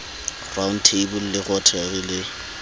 round table le rotary le